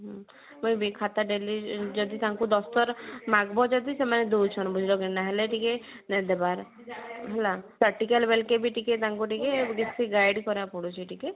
ଖାତା ଦେଲେ ଯଦି ତାଙ୍କୁ ଦରକାର ମାଗବ ଯଦି ତମେ ଦଉଛନ ବୋଲକା ନହେଲେ ନେଇ ଦେବାର ହେଲା practical ବି ତାଙ୍କୁ ଟିକେ ବେଶୀ guide କରିବାକୁ ପଡୁଛି ଟିକେ